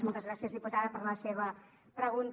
moltes gràcies diputada per la seva pregunta